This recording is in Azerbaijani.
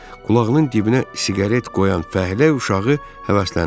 Qulağının dibinə siqaret qoyan fəhlə uşağı həvəsləndirdi.